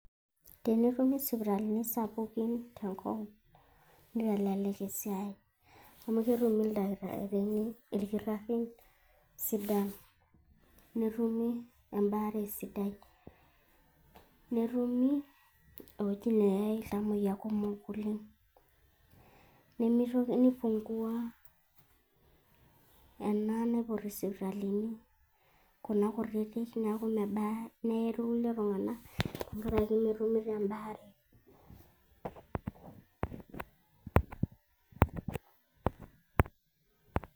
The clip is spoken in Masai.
Tenetumi sipitalini sapukin tenkop, nitelelek esiai. Amu ketumi ilkitarrini sidan. Netumi ebaare sidai. Netumi ewueji neai iltamoyia kumok oleng'. Nipungua ena naiputi isipitalini, kuna kutitik, neeku mebaa, neye kulie tung'anak, tenkaraki metumito ebaare.